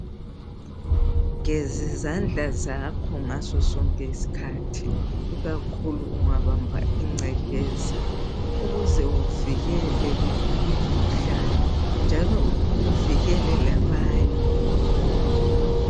Gezizandla zakho ngazo sonke isikhathi ikakhulu ungabamba ingcekeza ukuze uvikele umkhuhlane njalo uvikele labanye.